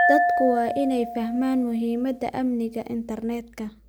Dadku waa inay fahmaan muhiimadda amniga internetka.